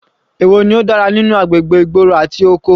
Èwo ló dára nínú agbègbè ìgboro àti oko?